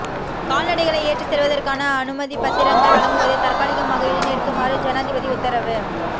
கால்நடைகளை ஏற்றிச் செல்வதற்கான அனுமதிப்பத்திரங்கள் வழங்குவதை தற்காலிகமாக இடைநிறுத்துமாறு ஜனாதிபதி உத்தரவு